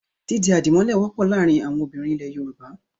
Dídi àdìmọ́lẹ̀ wọ́pọ̀ láàárin àwọn obìnrin ilẹ̀ Yorùbá.